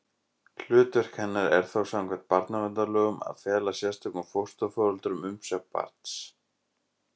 Hlutverk hennar er þá samkvæmt barnaverndarlögum að fela sérstökum fósturforeldrum umsjá barns.